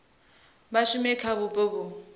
vha shume kha vhupo vhu